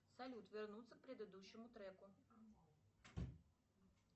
салют вернуться к предыдущему треку